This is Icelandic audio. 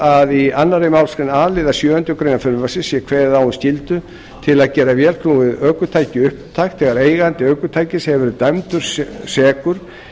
að í annarri málsgrein a liðar sjöundu greinar frumvarpsins sé kveðið á um skyldu til að gera vélknúið ökutæki upptækt þegar eigandi ökutækis hefur verið dæmdur sekur